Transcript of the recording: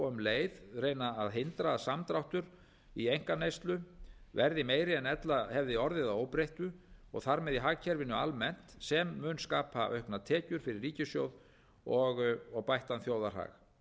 og um leið reyna að hindra að samdráttur í einkaneyslu verði meiri en ella hefði orðið að óbreyttu og þar með í hagkerfinu almennt sem mun skapa auknar tekjur fyrir ríkissjóð og bættan þjóðarhag